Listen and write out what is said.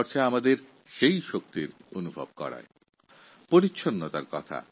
আন্তর্জাতিক যোগ দিবস পালনের ঘটনা আমাদের সেই অনুভূতিকেই আবার জাগিয়ে তুলেছে